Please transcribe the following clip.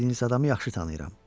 verdiyiniz adamı yaxşı tanıyıram.